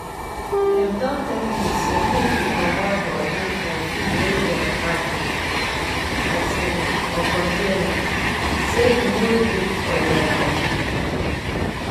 dem don tell you say make you comot body for food we dem package um for container say e no too good for body.